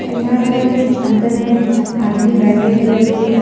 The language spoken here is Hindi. यहां पर कुछ अंदर में आदमी बैठे हुए बुक --